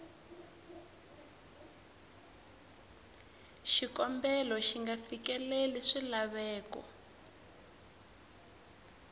xikombelo xi nga fikeleli swilaveko